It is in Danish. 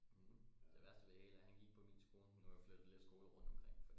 Det værste ved det hele er at han gik på min skole nu er han flyttet lidt skoler rundt omkring